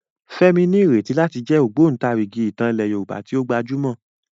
Fẹ́mi ní ìrètí láti jẹ́ ògbótarìgì ìtàn ilẹ̀ Yorùbá tí ó gbajúmọ̀.